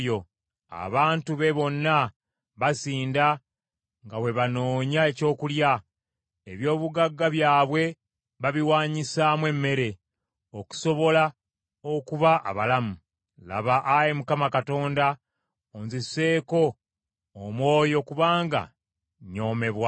Abantu be bonna basinda nga bwe banoonya ekyokulya; eby’obugagga byabwe babiwanyisaamu emmere, okusobola okuba abalamu. “Laba, Ayi Mukama Katonda, onziseeko omwoyo kubanga nnyoomebwa.”